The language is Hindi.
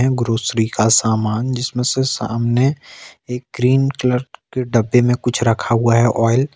ग्रॉसरी का सामान जिसमें से सामने एक ग्रीन कलर के डब्बे में कुछ रखा हुआ है ऑयल ।